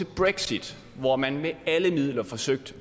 brexit hvor man med alle midler forsøgte